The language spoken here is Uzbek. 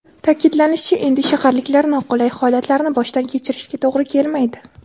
Ta’kidlanishicha, endi shaharliklar noqulay holatlarni boshdan kechirishiga to‘g‘ri kelmaydi.